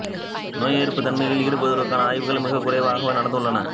நோய் எதிர்ப்புத் தன்மையில் ஈடுபடுவதற்கான ஆய்வுகள் மிக குறைவாகவே நடந்துள்ளன